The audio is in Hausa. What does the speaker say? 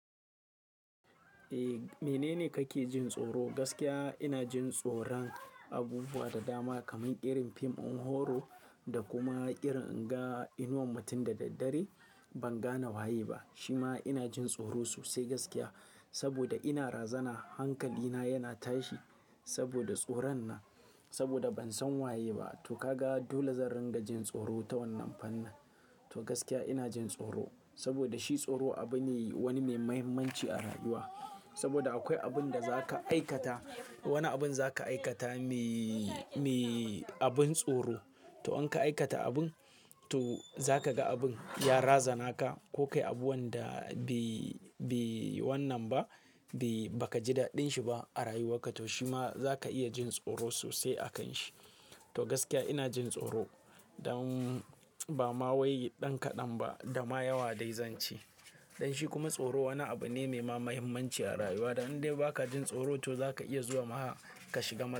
Eh, menene kake jin tsoro? Gaskiya ina jin tsoron abubuwa da dama kamar ƙirin fim ɗin horo da kuma ƙirin in ga inuwan mutum da daddare ban gane waye ba. Shi ma ina jin tsoro sosai gaskiya, saboda ina razana hankalina yana tashi saboda tsoron nan. Saboda ban san waye ba, to ka ga dole zan ringa jin tsoro ta wannan fanan. To gaskiya ina jin tsoro saboda shi tsoro abu ne wani mai mahimmanci a rayuwa. Saboda akwai abin da za ka aikata, wani abin za ka aikata mai, mai abin tsoro. To in ka aikata abin, to za ka ga abin ya razana ka ko kai abu wanda bai, bai wannan ba, bai-- ba ka ji daɗin shi ba a rayuwarka. To shi ma za ka iya jin tsoro sosai a kan shi. To gaskiya ina jin tsoro don ba ma wai ɗan kaɗan ba da ma yawa dai zan ce. Don shi kuma tsoro wani abu ne mai mahimmanci a rayuwa. Dan in dai ba ka jin tsoro to za ka iya zuwa ma ka shiga masa.